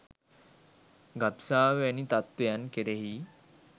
ගබ්සාව වැනි තත්ත්වයන් කෙරෙහි